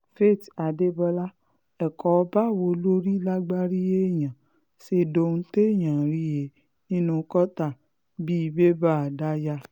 faith adébọlá ẹ̀kọ́ báwo lórí lágbárí èèyàn ṣe dohun téèyàn ń rí he nínú kọ́tà bíi bébà daya